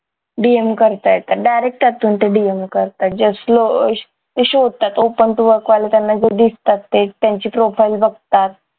DM करता येतं direct त्यातून ते DM करतात just दिसतात तेच त्यांची profile बघतात